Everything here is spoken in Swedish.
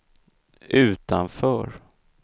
utanför